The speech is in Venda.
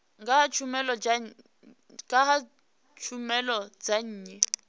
nga ha tshumelo dza nnyi